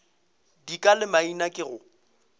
dika le maina ke go